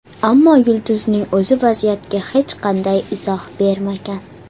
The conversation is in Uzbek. Ammo yulduzning o‘zi vaziyatga hech qanday izoh bermagan.